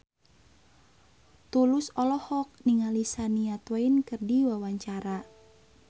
Tulus olohok ningali Shania Twain keur diwawancara